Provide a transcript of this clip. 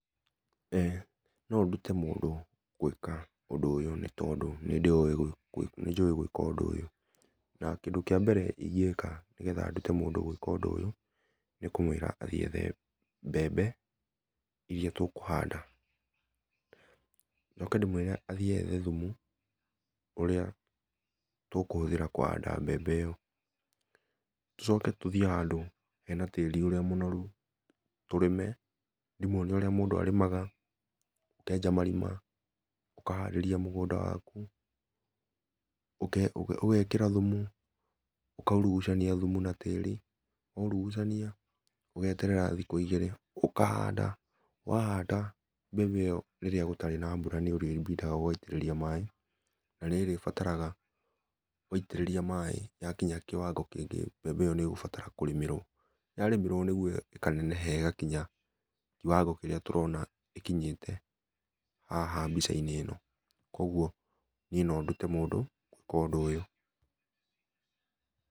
Eh no ndũte mũndũ gwĩka ũndũ ũyũ nĩ tondũ nĩ ndĩũĩ nĩ nĩnjũĩ gwĩka ũndũ ũyũ na kĩndũ kĩa mbere ĩngĩka nĩgetha ndũte mũndũ gwĩka ũndũ ũyũ nĩ kũmwĩra athiĩ ethe mbembe irĩa tũkũ handa, noke ndĩmwĩre athiĩ ethe thũmũ ũrĩa tũkũhũthĩra kũhanda mbembe ĩyo, tũcoke tũthiĩ handũ hena tĩri ũrĩa mũnorũ tũrĩme , ndĩmũonie ũrĩa mũndũ arĩmaga akenja marima, ũkaharĩria mũgũnda wakũ, ũgekĩra thũmũ ũkaũrũcania thũmũ na tĩri waũrũgũcania ũgeterera thikũ igĩrĩ ũkahanda wahanda mbembe ĩyo rĩrĩa gũtarĩ na mbũra nĩ ũrĩbidagwo ũgaĩtĩrĩria maĩ na nĩ ũrĩbataraga waĩtĩrĩria maĩ yakĩnya kĩwango kĩngĩ mbembe ĩyo nĩgũbatara kũrĩmĩrwo ya rĩmĩrwo nĩ gũo ĩkaneneha ĩgakinya kĩwango kĩrĩa tũrona ĩkinyĩte haha mbĩca inĩ ĩno kwoguo niĩ no ndũte mũndũ gwĩka ũndũ ũyũ.